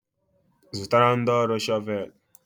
Zụtara ndị ọrụ shọvel.